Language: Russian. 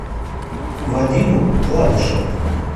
вадиму гладышеву